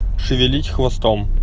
шевелить хвостом